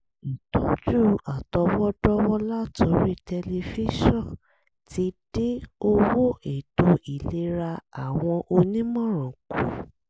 ìtọ́jú àtọwọ́dọ́wọ́ látorí tẹlifíṣọ̀n ti dín owó ètò ìlera àwọn onímọ̀ràn kù